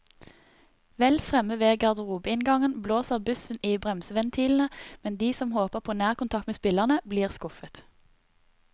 Vel fremme ved garderobeinngangen blåser bussen i bremseventilene, men de som håper på nærkontakt med spillerne, blir skuffet.